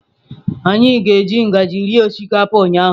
Anyị ji ngaji rie osikapa ụnyahụ.